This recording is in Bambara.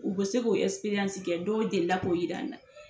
U be se k'o kɛ dɔw deli la k'o jira an na.